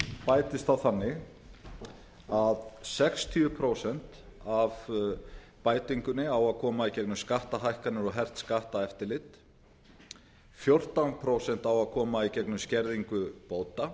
bætist þá þannig að sextíu prósent af bætingunni á að koma í gegnum skattahækkanir og hert skatteftirlit fjórtán prósent á að koma í gegnum skerðingu bóta